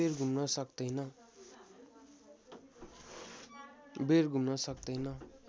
बेर घुम्न सक्तैन